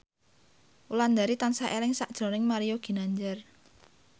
Wulandari tansah eling sakjroning Mario Ginanjar